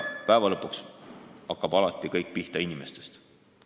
Lõppude lõpuks hakkab kõik pihta inimestest.